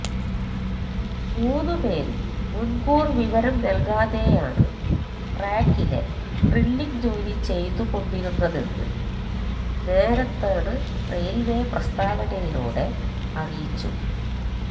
മൂന്ന് പേരും മുന്കൂര് വിവരം നല്കാതെയാണ് ട്രാക്കിലെ ഡ്രില്ലിംഗ് ജോലി ചെയ്തുകൊണ്ടിരുന്നതെന്ന് നോര്ത്തേണ് റെയില്വേ പ്രസ്താവനയിലൂടെ അറിയിച്ചു